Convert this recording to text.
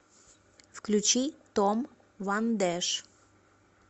включи том ван дэш